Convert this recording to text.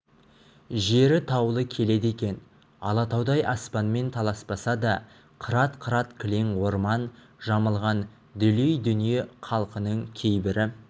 жері таулы келеді екен алатаудай аспанмен таласпаса да қырат-қырат кілең орман жамылған дүлей дүние халқының кейбірі